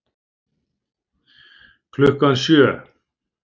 Klukkan sjö